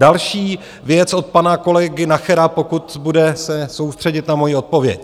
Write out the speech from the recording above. Další věc od pana kolegy Nachera, pokud se bude soustředit na moji odpověď.